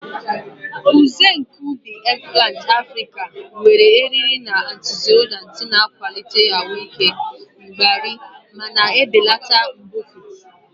Nsen nke ubi, eggplant Africa, nwere eriri na antioxidants, na-akwalite ahụ ike mgbari ma na-ebelata mbufụt.